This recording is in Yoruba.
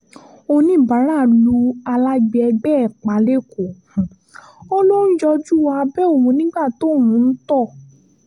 ọ̀níbàárà lu alágbe ẹgbẹ́ ẹ̀ pa lẹ́kọ̀ọ́ ó lọ ń yọjú wo abẹ́ òun nígbà tóun ń tọ̀